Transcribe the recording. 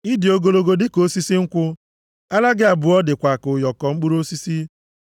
Ị dị ogologo dịka osisi nkwụ; ara gị abụọ dịkwa ka ụyọkọ mkpụrụ osisi.